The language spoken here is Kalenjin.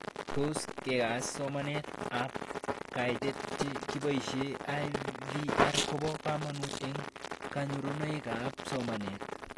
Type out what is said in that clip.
Tos kekas somanet ab kaitet che kiposhe IVR kopo kamanut eng' kanyorunoik ab somanet